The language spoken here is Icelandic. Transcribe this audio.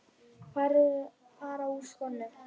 Fara úr skónum.